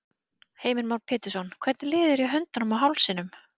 Heimir Már Pétursson: Hvernig líður þér í höndunum og hálsinum?